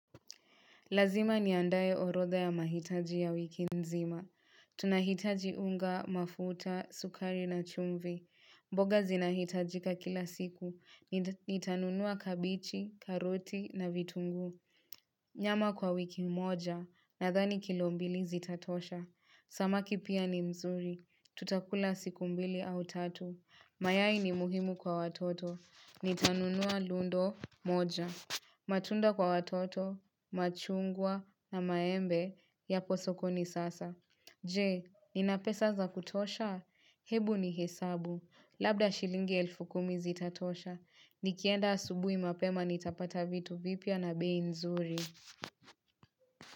Lazima niandae orodha ya mahitaji ya wiki nzima. Tunahitaji unga, mafuta, sukari na chumvi. Mboga zinahitajika kila siku. Nitanunua kabejii, karoti na vitunguu. Nyama kwa wiki moja. Nadhani kilo mbili zitatosha. Samaki pia ni nzuri. Tutakula siku mbili au tatu. Mayai ni muhimu kwa watoto. Nitanunua lundo moja. Matunda kwa watoto. Machungwa na maembe yapo sokoni sasa. Je, ninapesa za kutosha? Hebu nihesabu. Labda shilingi elfu kumi zitatosha. Nikienda asubuhi mapema nitapata vitu vipya na bei nzuri.